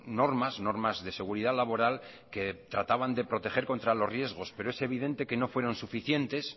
normas normas de seguridad laboral que trataban de proteger contra los riesgos pero es evidente que no fueron suficientes